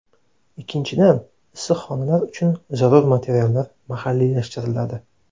Ikkinchidan, issiqxonalar uchun zarur materiallar mahalliylashtiriladi.